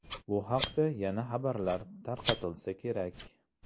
Bu haqda yana xabarlar tarqatilsa kerak.